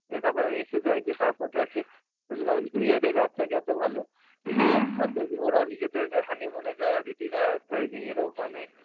দিয়ে তারপরে এসে যায়, দিয়ে তারপর দেখে ওই যে যেমন new year এর রাত থাকে এতো ভালো, নিয়ে ওরাও নিজেদের honey moon এ যায় অদিতিরা, আ আর এর ও মানে